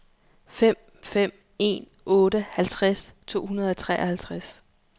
fem fem en otte halvtreds to hundrede og treoghalvtreds